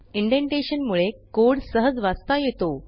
indentation मुळे code सहज वाचता येतो